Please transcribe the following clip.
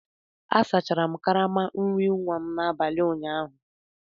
Asachara m karama nri nwa n'abalị ụnyaahụ